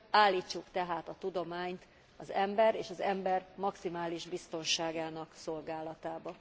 Állítsuk tehát a tudományt az ember és az ember maximális biztonságának szolgálatába.